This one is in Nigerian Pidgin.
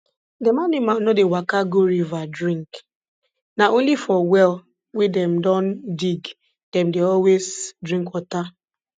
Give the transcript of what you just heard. dem animal no dey waka go river drink na only for well wey dem don dig dem dey always drink water